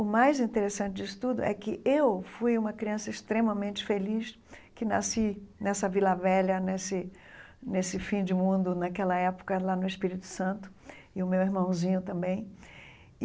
O mais interessante disso tudo é que eu fui uma criança extremamente feliz, que nasci nessa Vila Velha, nesse nesse fim de mundo, naquela época, lá no Espírito Santo, e o meu irmãozinho também.